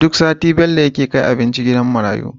Duk sati Bello yake kai abinci gidan marayu